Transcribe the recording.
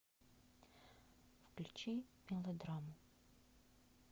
включи мелодраму